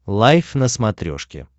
лайф на смотрешке